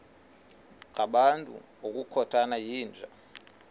ngabantu ngokukhothana yinja